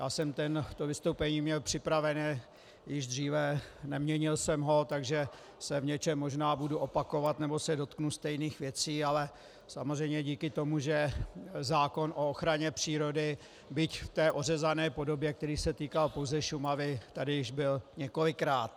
Já jsem to vystoupení měl připravené již dříve, neměnil jsem ho, takže se v něčem možná budu opakovat nebo se dotknu stejných věcí, ale samozřejmě díky tomu, že zákon o ochraně přírody, byť v té ořezané podobě, která se týká pouze Šumavy, tady již byl několikrát.